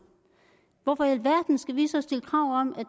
hvorfor i alverden skal vi så stille krav om at